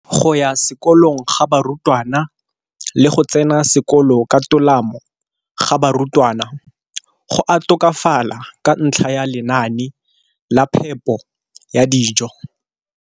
Go ya sekolong ga barutwana le go tsena sekolo ka tolamo ga barutwana go a tokafala ka ntlha ya lenaane la phepo ya dijo.